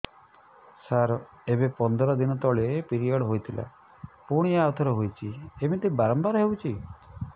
ସାର ଏବେ ପନ୍ଦର ଦିନ ତଳେ ପିରିଅଡ଼ ହୋଇଥିଲା ପୁଣି ଆଉଥରେ ହୋଇଛି ଏମିତି ବାରମ୍ବାର ହଉଛି